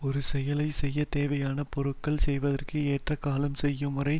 ஒரு செயலை செய்ய தேவையான பொருள்கள் செய்வதற்கு ஏற்ற காலம் செய்யும் முறை